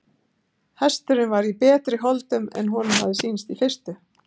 Hesturinn var í betri holdum en honum hafði sýnst í fyrstu.